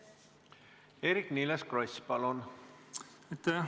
Eerik-Niiles Kross, palun!